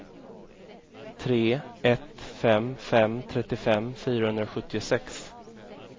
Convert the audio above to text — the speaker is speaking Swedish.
tre ett fem fem trettiofem fyrahundrasjuttiosex